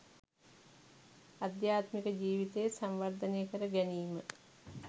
අධ්‍යාත්මික ජීවිතය සංවර්ධනය කර ගැනීම